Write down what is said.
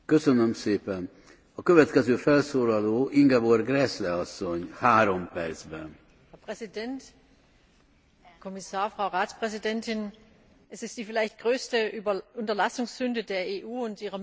Herr Präsident, Herr Kommissar, Frau Ratspräsidentin! Es ist die vielleicht größte Unterlassungssünde der EU und ihrer Mitgliedstaaten, den Kampf gegen Korruption nicht sehr viel früher und entschiedener aufgenommen zu haben.